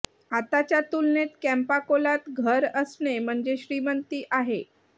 आताच्या तुलनेत कॅम्पा कोलात घर असणे म्हणजे श्रीमंती आहे